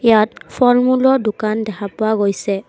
তাত ফলমূলৰ দোকান দেখা পোৱা গৈছে।